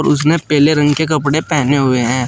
उसने पीले रंग के कपड़े पहने हुए है।